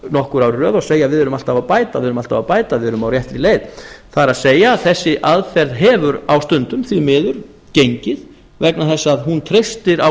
nokkur ár í röð og segja við erum alltaf að bæta við erum á réttri leið það er að segja þessi aðferð hefur á stundum því miður gengið vegna þess að hún teystir á